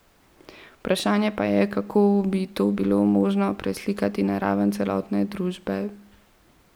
Vprašanje pa je, kako bi to bilo možno preslikati na raven celotne družbe.